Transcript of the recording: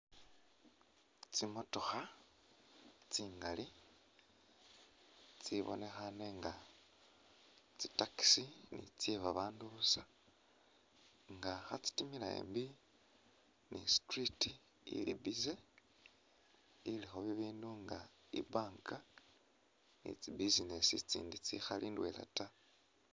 Tsimotokha tsingali tsibonekhane nga ni tsye babaandu busa nga khatsitimila embi ni i'street ili busy, ilikho bibindu nga i'bank ni tsi business itsindi tsikhali ndwela ta.